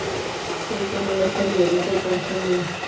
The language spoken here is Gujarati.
કોઈ હોઈ નય એટલે tension નય